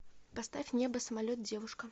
поставь небо самолет девушка